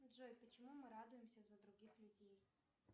джой почему мы радуемся за других людей